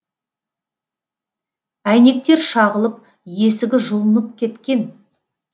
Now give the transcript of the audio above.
әйнектер шағылып есігі жұлынып кеткен